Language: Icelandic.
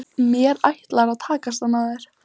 Mér ætlar að takast að ná þér.